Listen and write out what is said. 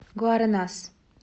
гуаренас